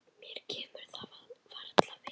Mér kemur það varla við.